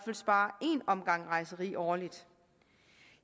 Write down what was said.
sparer en omgang rejseri årligt